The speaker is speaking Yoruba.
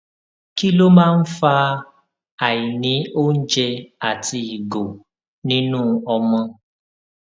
kí ló máa ń fa àìní oúnjẹ àti ìgò nínú ọmọ